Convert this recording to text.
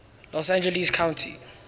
los angeles county